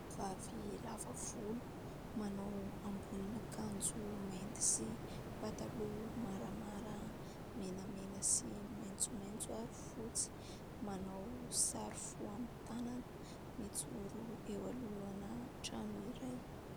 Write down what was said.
Vavy lava volo manao ambonina akanjo mainty sy pataloha : maramara, menamena sy maitsomaitso ary fotsy ; manao sary fo amin' ny tanana ; mijoro eo alohana trano iray.